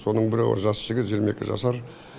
соның бірі жас жігіт жиырма екі жасар